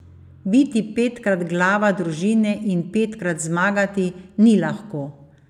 Biti petkrat glava družine in petkrat zmagati, ni lahko.